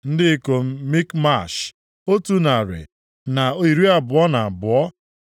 Ndị ikom Mikmash, otu narị na iri abụọ na abụọ (122).